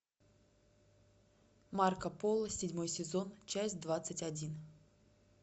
марко поло седьмой сезон часть двадцать один